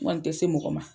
N kɔni tɛ se mɔgɔ ma